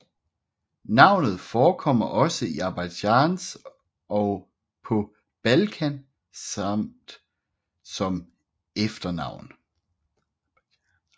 Navnet forekommer også i Aserbajdsjan og på Balkan samt som efternavn